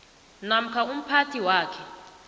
namkha umphathi wakhe